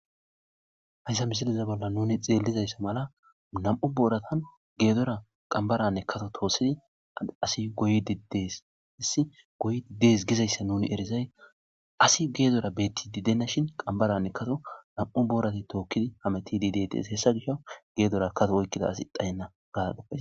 Haysa misileza bolla nuni xelizayssa mala, fedora qambaranne kasa tookidi asi goyidi dees. Goyidi dees gizaysa ninierizay asi fedora beetenashin, qambaranne kasa nam'u booratu tookidi hamutidi deetes hesa fish fedora asi dhayena